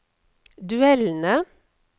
duellene